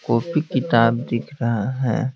Copy किताब दिख रहा है।